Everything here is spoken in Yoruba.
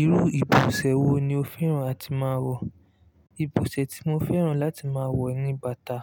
Irú ìbọ̀sẹ̀ wo ni o fẹ́ràn láti máa wọ̀? Ìbọ̀sẹ̀ tí mo fẹ́ràn láti máa wọ̀ ni bàtà